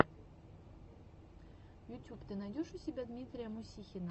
ютюб ты найдешь у себя дмитрия мусихина